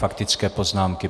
Faktické poznámky.